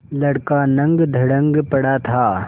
लड़का नंगधड़ंग पड़ा था